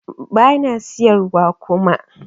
Bana siyar wa kuma